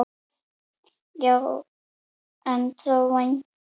Já en þó vægan.